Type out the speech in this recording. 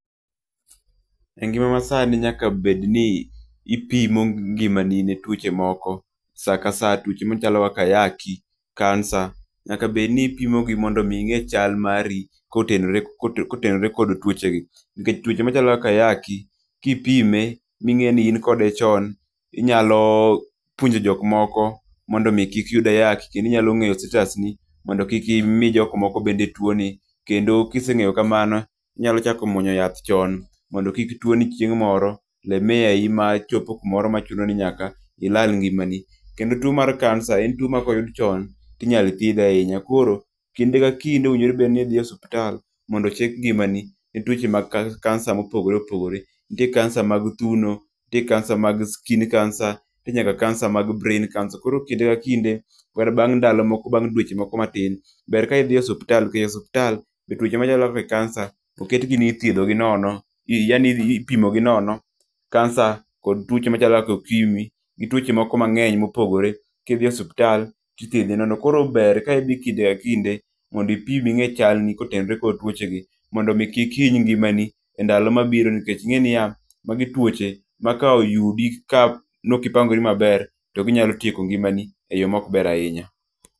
E ngima ma sani nyakabedni ipimo ngimani ne tuoche moko, sa ka sa, tuoche machalo kaka ayaki, kansa. Nyaka bed ni ipimogi mondo mi ing'e chal mari kotenore, kotenore kod tuoche gi. Nikech tuoche machalo kaka ayaki, kipime ming'eyo ni in kode chon, inyalo puonjo jok moko mondo mi kik yud ayaki. Kendinyalo ng'eyo status ni mondo kik imi jok moko bende tuo ni. Kendo kiseng'eyo kamano, inyalo chako muonyo yath chon mondo kik tuoni chieng' moro lemea i ma chopo kumoro machuno ni nyaka ilal ngima ni. Kendo tuo mar kansa en tuo ma koyud chon inyalo thiedhe ahinya. Koro kinde ka kinde owinjore obed ni idhi e osuptal mondo ochek ngimani ne tuoche mag kansa mopogore opogore. Nitie kansa mag thuno, nitie kansa mag skin cancer, nitie nyaka kansa mag brain cancer. Koro kinde ka kinde kata bang' ndalo moko bang' dweche moko matin, ber ka idhi osuptal nikech osuptal be tuoche machalo be kansa oketgi ni ithiedho gi nono, yani ipimogi nono. Kansa kod tuoche machalomkaka okimi, gi tuoche moko mang'eny mopogore kidhi osuptal tithiedhi nono. Koro ber ka idhi kinde ka kinde mondipim ing'e chalni kotenre kod tuoche gi. Mondo mi kik iny ngimani e ndalo mabiro nikech ing'e niya, magi tuoche ma ka oyudi ka nokipangori maber to ginayalotieko ngimani e yo mokber ahinya.